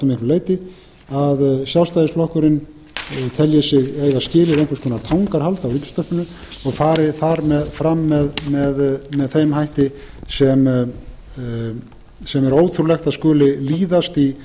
leyti að sjálfstæðisflokkurinn telji sig eiga skilið einhvers konar tangarhald á ríkisútvarpinu og fari þar fram með þeim hætti sem er ótrúlegt að skuli líðast í